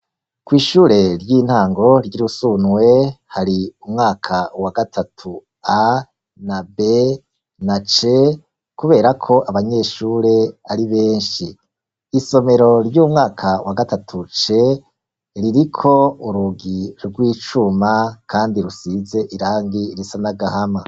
Kw'ishure ry'intango ry'i Rusunwe hari umwaka wa gatatu A na B na C kuberako abanyeshure ari benshi. Isomero ry'umwaka wa gatatu C ririko urugi rw'icuma kandi rusize irangi risa n'agahama.